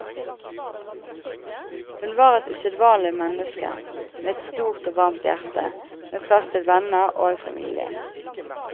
Hun var et usedvanlig menneske, med et stort og varmt hjerte med plass til venner og familie.